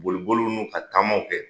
Bolibolu n'u ka taamaw kɛ